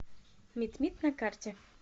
митмит на карте